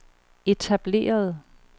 etablerede